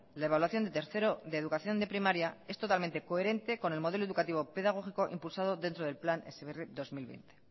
la evaluación de tercero de primaria es totalmente coherente con el modelo educativo pedagógico impulsado dentro del plan heziberri dos mil veinte